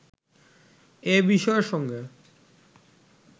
এ বিষয়ের সঙ্গে